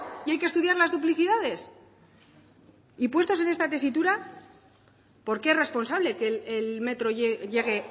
y hay que estudiar las duplicidades y puestos en esta tesitura por qué es responsable que el metro llegue